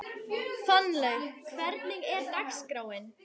Fannlaug, hvernig er dagskráin?